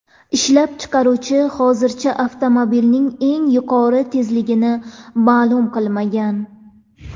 Ishlab chiqaruvchi hozircha avtomobilning eng yuqori tezligini ma’lum qilmagan.